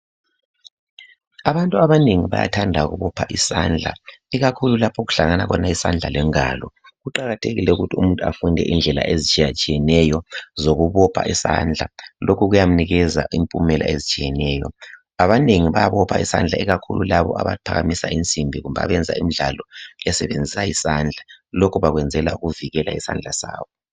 abantu abanengi bayathanda ukubopha isandla ikakhulu lapho okuhlangana khona isandla lengalo kuqakathekile ukuba abantu bafunde indlela iItshiyatshiyeneyo zokubopha isandla lokho kuyamunikeza impumelo etshiyeneyo abanengi bayabopha isandla ikakhulu laba abaphakamisa kumbe abenza imidlalo besebenzisa isandla lokhu bakuyenzela ukuvikela izandla zabo